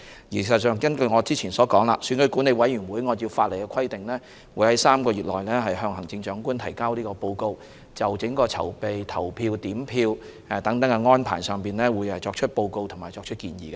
事實上，根據我先前所說，選舉管理委員會會按照法例的規定，在3個月內向行政長官提交報告，就整個選舉的籌備、投票、點票等安排作出報告和建議。